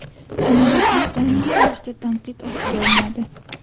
Samolyotlar doimiy ravishda tanqid ostiga olinadi.